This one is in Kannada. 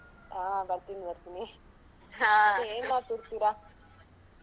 ಅಹ್ ಬರ್ತೀನಿ ಬರ್ತೀನಿ. ಮತ್ತೆ ಏನ್ ಮಾಡ್ತಿರ್ತೀರಾ?